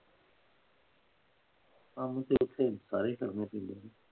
ਕੰਮ ਤੇ ਇੱਥੇ ਸਾਰੇ ਈ ਕਰਨੇ ਪੈਂਦੇ